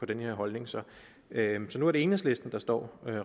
den her holdning så nu er det enhedslisten der står